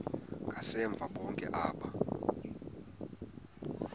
ngasemva bonke aba